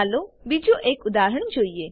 ચાલો બીજું એક ઉદાહરણ જોઈએ